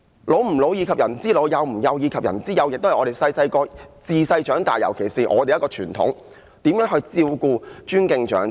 "老吾老，以及人之老；幼吾幼，以及人之幼"，這也是自小學習的一種傳統，我們要照顧、尊敬長者。